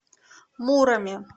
муроме